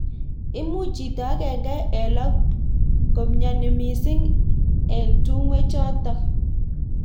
Imuch chito agenge eng lo komnyeni mising eng tungwek chototok.